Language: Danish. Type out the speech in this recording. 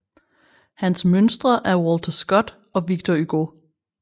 Hans mønstre er Walter Scott og Victor Hugo